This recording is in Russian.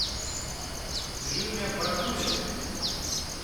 дрюня бакулин